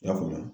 I y'a faamu